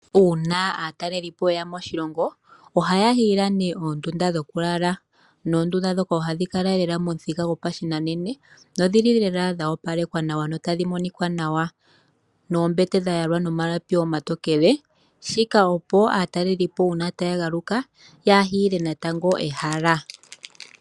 Uuna aataleli po yeya moshilongo ohaya hiile nee oondunda dhokulala noondunda ndhoka ohadhi kala lela momuthika gopashinanena, dho dhili lela dha opalekwa nawa notadhi monika nawa, noombete dha yalwa nomalapi omatokele, shika opo aatalelipo uuna taya galuka ya hiile natango ehala.